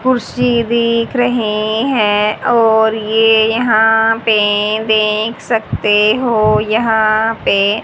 कुर्सी बेक रहे हैं और ये यहां पे देख सकते हो यहां पे--